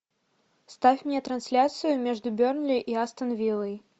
ставь мне трансляцию между бернли и астон виллой